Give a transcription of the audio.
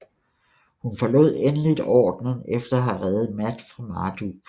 Hun forlod endeligt ordenen efter at havde redet Matt fra Marduke